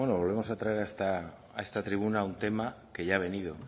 volvemos a traer a esta tribuna un tema que ya ha venido